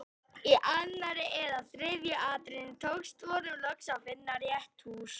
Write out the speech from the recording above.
Í annarri eða þriðju atrennu tókst honum loks að finna rétt hús.